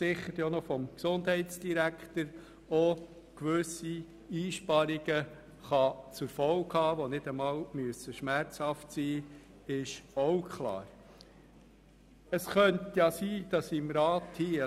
Dies könnte gewisse Einsparungen zur Folge haben, die nicht schmerzhaft sein müssen, das ist klar.